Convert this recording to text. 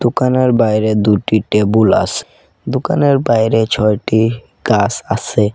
দোকানের বাইরে দুইটি টেবুল আসে দোকানের বাইরে ছয়টি গাস আসে।